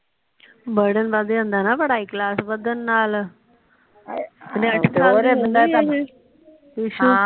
burden ਵੱਧ ਜਾਂਦਾ ਨਾ ਕਲਾਸ ਵਧਣ ਨਾਲ